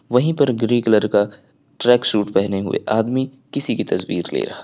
वहीं पर green colour का ट्रैक सूट पहने हुए आदमी किसी की तस्वीर ले रहा है।